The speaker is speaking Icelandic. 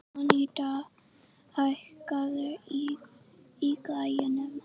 Anita, hækkaðu í græjunum.